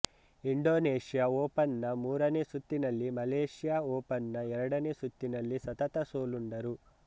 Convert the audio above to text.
Indonesia Open ನ ಮೂರನೆ ಸುತ್ತಿನಲ್ಲಿ ಮಲೇಷ್ಯಾ ಓಪನ್ ನ ಎರಡನೇ ಸುತ್ತಿನಲ್ಲಿ ಸತತ ಸೋಲುಂಡರು